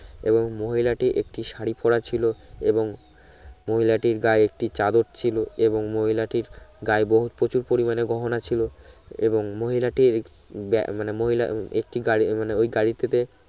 এবং মহিলা টি একটি শড়ি পরা ছিলো এবং মহিলাটির গায়ে একটি চাদর ছিলো এবং মহিলাটির গায়ে বহুত প্রচুর পরিমানে গহনা ছিলো এবং মহিলাটির ব্যা মানে মহিলা একটি গাড়ি মানে ওই গাড়ি টিতে